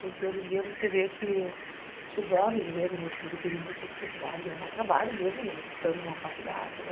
Porque hoje em dia você vê que o jovem, eu vejo o meu filho, teve muita dificuldade de arrumar trabalho, mesmo ele estando numa faculdade, né